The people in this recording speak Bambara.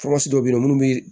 dɔ be yen nɔ munnu bi